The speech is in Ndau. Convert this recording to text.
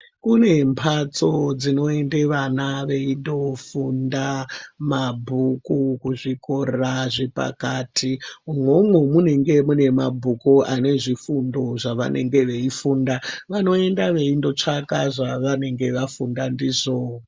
Kune mbatso dzinoende vana veindofunda mabhuku kuzvikora zvepakati umomo munenge mune mabhuku ane zvifundo zvavanenge veifunda. vanoenda veinotsvaka zvavanenge vafunda ndizvo.